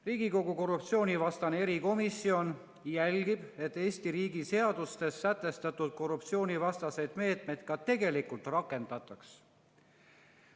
"Riigikogu korruptsioonivastane erikomisjon jälgib, et Eesti riigi seadustes sätestatud korruptsioonivastaseid meetmeid ka tegelikult rakendataks.